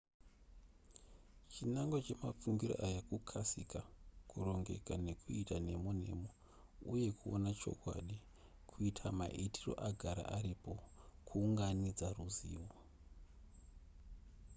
chinangwa chemafungiro aya kukasika kurongeka nekuita nemo nemo uye kuona chokwadi kuita maitiro agara aripo kuunganidza ruzivo